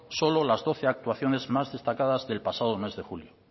solo las doce actuaciones más destacadas del pasado mes julio